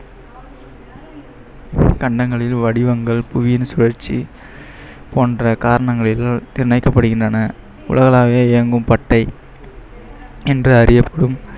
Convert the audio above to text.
வடிவங்கள், புவியின் சுழற்சி போன்ற உலகளாவிய இயங்கும் என்ற